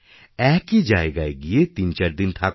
একই জায়গায় গিয়েতিনদিনচারদিন থাকুন